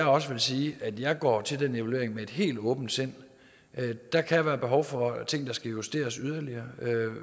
også sige at jeg går til den evaluering med et helt åbent sind der kan være behov for ting der skal justeres yderligere og